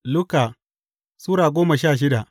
Luka Sura goma sha shida